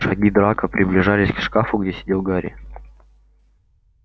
шаги драко приближались к шкафу где сидел гарри